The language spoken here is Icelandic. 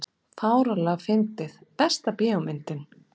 fáránlega fyndið Besta bíómyndin?